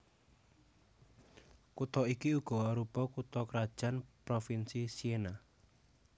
Kutha iki uga arupa kutha krajan provinsi Siena